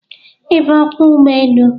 Ị bụ Ọkwọ ụgbọelu?